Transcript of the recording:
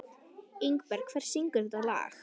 Ingberg, hver syngur þetta lag?